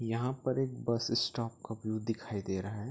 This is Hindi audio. यहाँ पर एक बस स्टॉप का व्यू दिखाई दे रहा है।